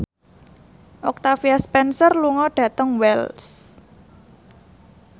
Octavia Spencer lunga dhateng Wells